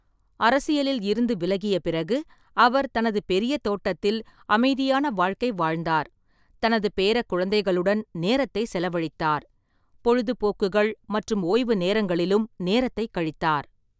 அரசியலில் இருந்து விலகிய பிறகு, அவர் தனது பெரிய தோட்டத்தில் அமைதியான வாழ்க்கை வாழ்ந்தார், தனது பேரக்குழந்தைகளுடன் நேரத்தை செலவழித்தார், பொழுதுபோக்குகள் மற்றும் ஓய்வுநேரங்களிலும் நேரத்தை கழித்தார்.